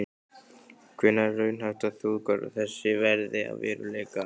Hvenær er raunhæft að þjóðgarður þessi verði að veruleika?